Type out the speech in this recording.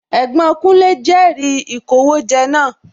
Ẹ̀gbọ́n kúnlé jẹri sì ìkówójẹ náà